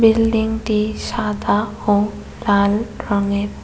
বিল্ডিংটি সাদা ও লাল রঙের।